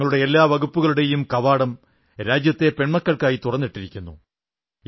തങ്ങളുടെ എല്ലാ വകുപ്പുകളുടെയും കവാടം രാജ്യത്തെ പെൺമക്കൾക്കായി തുറന്നിരിക്കുന്നു